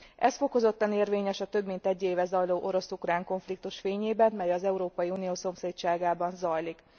Ez fokozottan érvényes a több mint egy éve zajló orosz ukrán konfliktus fényében, mely az Európai Unió szomszédságában zajlik.